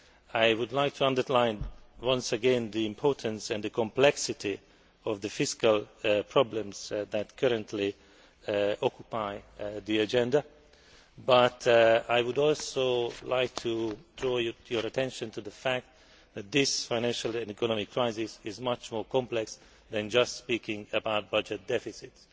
I would like to stress once again the importance and the complexity of the fiscal problems that are currently on the agenda, but I would also like to draw your attention to the fact that this financial and economic crisis is much more complex than just speaking about budget deficits.